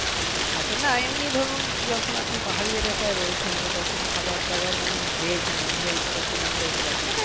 আচ্ছা না এমনি ধরুন যখন আপনি পাহাড়ি এলাকায় রয়েছেন তখন খাবার দাবার মানে veg non veg বা কিরকম type এর আপনি